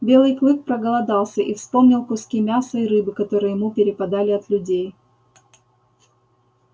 белый клык проголодался и вспомнил куски мяса и рыбы которые ему перепадали от людей